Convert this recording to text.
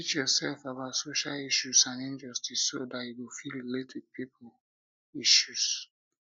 teach yourself about social issues and injustice so dat you go fit relate with pipo relate with pipo issues